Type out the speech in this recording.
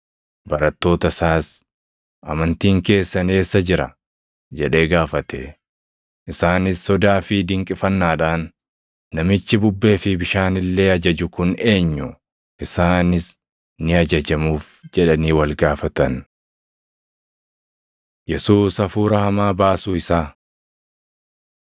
Barattoota isaas, “Amantiin keessan eessa jira?” jedhee gaafate. Isaanis sodaa fi dinqifannaadhaan, “Namichi bubbee fi bishaan illee ajaju kun eenyu? Isaanis ni ajajamuuf” jedhanii wal gaafatan. Yesuus Hafuura Hamaa Baasuu Isaa 8:26‑37 kwf – Mat 8:28‑34 8:26‑39 kwf – Mar 5:1‑20